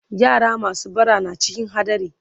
yara masu bara na cikin hadari